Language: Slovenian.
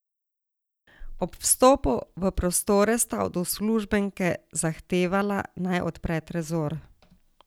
Ob vstopu v prostore sta od uslužbenke zahtevala, naj odpre trezor.